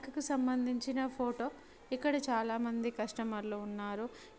సంబంధించిన ఫోటో ఇక్కడ చాలా మంది కస్టమర్ లు ఉన్నారు